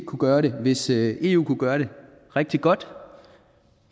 kunne gøre det hvis eu kunne gøre det rigtig godt